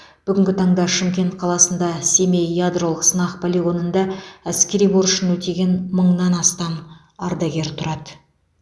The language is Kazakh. бүгінгі таңда шымкент қаласында семей ядролық сынақ полигонында әскери борышын өтеген мыңнан астам ардагер тұрады